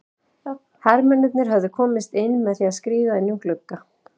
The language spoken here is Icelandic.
Hermennirnir höfðu komist inn með því að skríða inn um glugga.